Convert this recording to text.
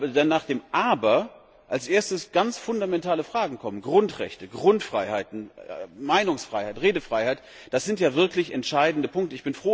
Doch nach dem Aber kommen sofort ganz fundamentale Fragen Grundrechte, Grundfreiheiten, Meinungsfreiheit, Redefreiheit das sind ja wirklich entscheidende Punkte.